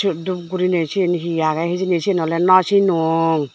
siot dup gurine sen hi agey hijeni sen ole nw sinong.